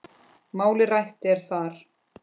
Málið rætt er þar.